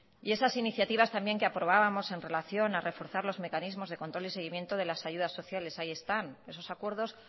y esas iniciativas también que aprobábamos en relación a reforzar los mecanismos de control y seguimiento a las ayudas sociales ahí están esos acuerdos